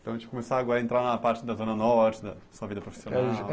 Então, a gente vai começar agora a entrar na parte da Zona Norte, da sua vida profissional.